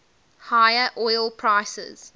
higher oil prices